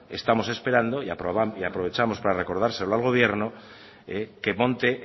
estamos esperando y aprovechamos para recordárselo al gobierno que monte